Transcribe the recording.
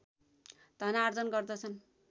धनार्जन गर्दछन्